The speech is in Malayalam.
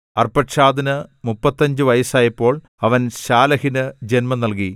അർപ്പക്ഷാദിന് മുപ്പത്തഞ്ച് വയസ്സായപ്പോൾ അവൻ ശാലഹിന് ജൻമം നൽകി